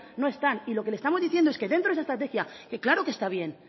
no están y lo que le estamos diciendo es que dentro de esa estrategia que claro que está bien